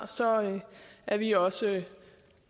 er vi også